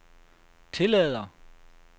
tillader